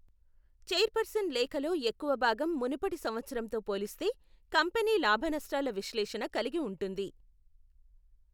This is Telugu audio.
చైర్పర్సన్ లేఖలో ఎక్కువ భాగం మునుపటి సంవత్సరంతో పోలిస్తే కంపెనీ లాభ నష్టాల విశ్లేషణ కలిగి ఉంటుంది.